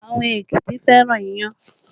Àwọn Èkìtì fẹ́ràn iyán